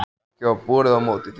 Ekki varð borið á móti því.